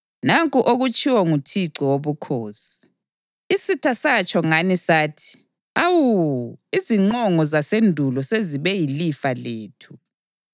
Nanku okutshiwo nguThixo Wobukhosi: Isitha satsho ngani sathi, “Awu! Iziqongo zasendulo sezibe yilifa lethu.” ’